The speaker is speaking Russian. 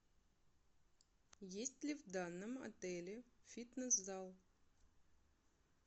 есть ли в данном отеле фитнес зал